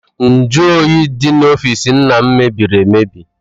Nju oyi dị n'ọfịịsi nna m mebiri emebi.